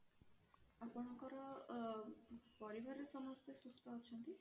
ଆପଣଙ୍କର ଅ ପରିବାର ରେ ସମସ୍ତେ ସୁସ୍ଥ ଅଛନ୍ତି?